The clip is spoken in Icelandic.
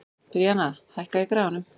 Bríanna, hækkaðu í græjunum.